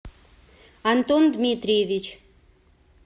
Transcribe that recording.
антон дмитриевич